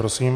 Prosím.